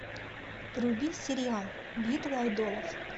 вруби сериал битва айдолов